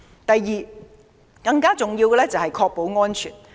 第二，更重要的是確保安全。